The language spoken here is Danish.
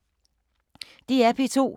DR P2